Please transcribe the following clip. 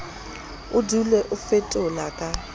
o dule o fetola ka